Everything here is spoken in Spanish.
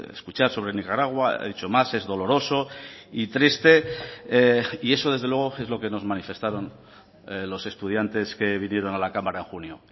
escuchar sobre nicaragua ha dicho más es doloroso y triste y eso desde luego es lo que nos manifestaron los estudiantes que vinieron a la cámara en junio